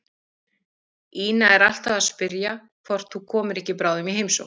Ína er alltaf að spyrja hvort þú komir ekki bráðum í heimsókn.